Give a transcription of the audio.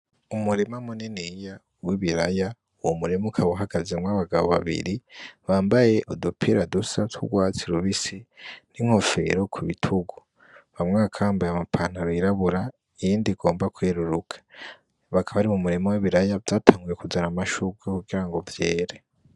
Umurima muniniya w'ibiraya uwo murima ukaba uhagazemwo abagabo babiri, bambaye udupira dusa tw'urwatsi rubisi, n'inkofero ku bitugu umwe akaba yambaye ipantaro y'irabura uwundi yeruruka bakaba bari m'umurima w'ibiraya vyatanguye kuzana amashurwe kugira ngo vyera.